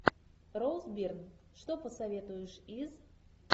роуз бирн что посоветуешь из